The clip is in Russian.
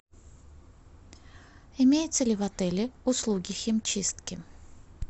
имеются ли в отеле услуги химчистки